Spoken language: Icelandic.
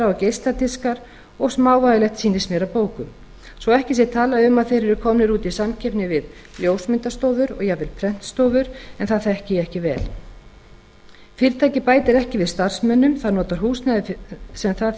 og geisladiskar og smávægilegt sýnist mér af bókum svo að ekki sé talað um að þeir eru komnir út í samkeppni við ljósmyndastofur og jafnvel prentstofur en það þekki ég ekki vel fyrirtækið bætir ekki við starfsmönnum það notar húsnæði sem það